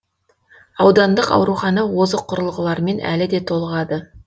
аудандық аурухана озық құрылғылармен әлі де толығады